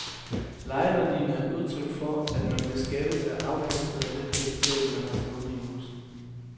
Lejeværdien er et udtryk for, at man beskattes af afkastet af den kapital, man har stående i huset.